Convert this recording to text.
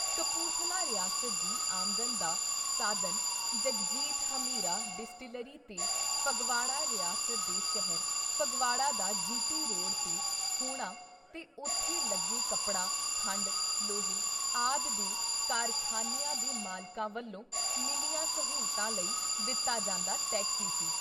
ਕਪੂਰਥਲਾ ਰਿਆਸਤ ਦੀ ਆਮਦਨ ਦਾ ਸਾਧਨ ਜਗਜੀਤ ਹਮੀਰਾ ਡਿਸਟਿਲਰੀ ਤੇ ਫਗਵਾੜਾ ਰਿਆਸਤ ਦੇ ਸ਼ਹਿਰ ਫਗਵਾੜਾ ਦਾ ਜੀ.ਟੀ. ਰੋਡ ‘ਤੇ ਹੋਣਾ ਤੇ ਉਥੇ ਲੱਗੇ ਕੱਪੜਾ, ਖੰਡ, ਲੋਹੇ ਆਦਿ ਦੇ ਕਾਰਖਾਨਿਆਂ ਦੇ ਮਾਲਕਾਂ ਵੱਲੋਂ ਮਿਲੀਆਂ ਸਹੂਲਤਾਂ ਲਈ ਦਿੱਤਾ ਜਾਂਦਾ ਟੈਕਸ ਈ ਸੀ।